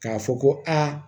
K'a fɔ ko aa